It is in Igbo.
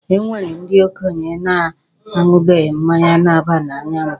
E nwere ndi okenye na-aṅụbeghị mmanya na-aba n'anya mbụ.